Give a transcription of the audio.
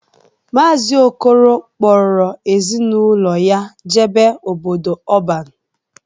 Maazị Okolo kpọrọ ezi na ụlọ ya jebe n'obodo ọban.